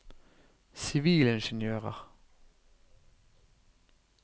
sivilingeniører